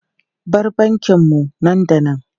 Bar bankin mu nan da nan!